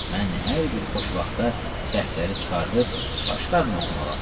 Mən hər bir xoş vaxtda dəftəri çıxarıb başlardım oxumağa.